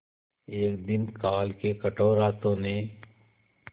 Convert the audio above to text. एक दिन काल के कठोर हाथों ने